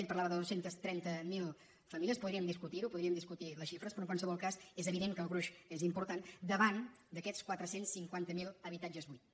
ell parlava de dos cents i trenta miler famílies podríem discutirho podríem discutir les xifres però en qualsevol cas és evident que el gruix és important davant d’aquests quatre cents i cinquanta miler habitatges buits